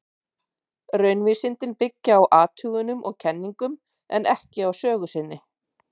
Raunvísindin byggja á athugunum og kenningum, en ekki á sögu sinni.